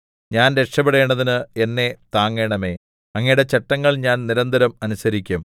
ഞാൻ രക്ഷപെടേണ്ടതിന് എന്നെ താങ്ങണമേ അങ്ങയുടെ ചട്ടങ്ങൾ ഞാൻ നിരന്തരം അനുസരിക്കും